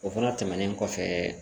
O fana tɛmɛnen kɔfɛ